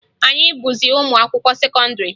Anyị abụghịzị ụmụ akwụkwọ sekọndịrị